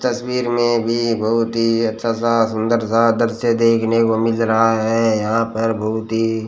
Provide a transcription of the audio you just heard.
तस्वीर में भी बहुत ही अच्छा सा सुंदर सा दृश्य देखने को मिल रहा है यहां पर बहुत ही--